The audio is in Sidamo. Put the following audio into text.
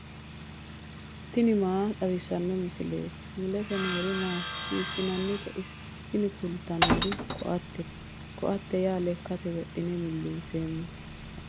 tini maa xawissanno misileeti ? mulese noori maati ? hiissinannite ise ? tini kultannori ko*attete. ko"atte yaa lekkankera wodhine millinseemmote.